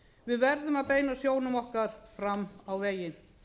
við verðum að beina sjónum okkar fram á veginn